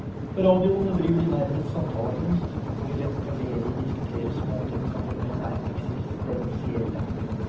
På radioen driver de nærmest samtalekunst, hvor de lett og ledig diskuterer småting som for menn er eksistensielle.